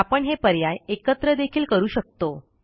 आपण हे पर्याय एकत्र देखील करू शकतो